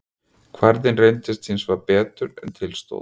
Kvarðinn reyndist hins vegar betur en til stóð.